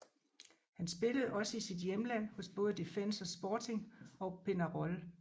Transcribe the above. Han spillede også i sit hjemland hos både Defensor Sporting og Peñarol